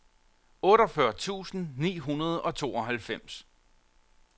otteogfyrre tusind ni hundrede og tooghalvfems